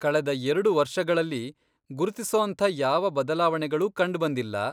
ಕಳೆದ ಎರ್ಡು ವರ್ಷಗಳಲ್ಲಿ ಗುರುತಿಸೋಂಥ ಯಾವ ಬದಲಾವಣೆಗಳೂ ಕಂಡ್ಬಂದಿಲ್ಲ.